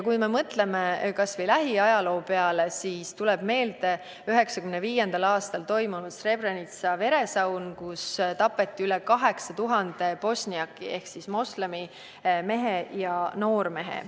Kui me mõtleme kas või lähiajaloo peale, siis tuleb meelde 1995. aastal toimunud Srebrenica veresaun, kus tapeti üle 8000 bosniaki ehk moslemi mehe ja noormehe.